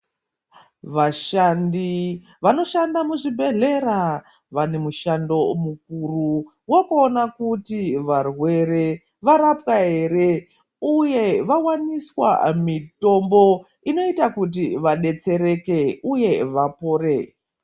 Vashandi vanoshanda muzvibhedhlera vane mushando mukuru wokuonq kuti varwere varapwa ere uye vawaniswa mitombo inoita kuti vadetsereke uye vapore.